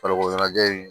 Farikolo ɲɛnajɛ in